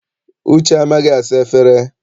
Uche amaghị asa efere?